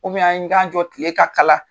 an ni k'an jɔ tile ka kala